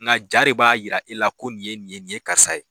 Nka ja de b'a jira e la ko nin ye nin ye nin ye karisa ye